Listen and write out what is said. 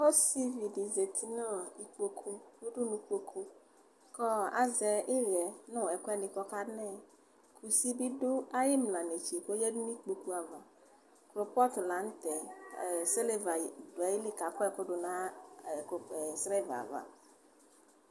osivi di zati no ikpoku udunu kpoku ko azɛ iɣɛ no ɛkuɛdi ko ɔka nɛ kusi bi do ayi imla netse ko oyadu no ikpoku ava kulpɔt lantɛ silva do ayili ko akɔ ɛko do no silva ava